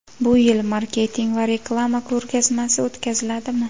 Bu yil Marketing va reklama ko‘rgazmasi o‘tkaziladimi?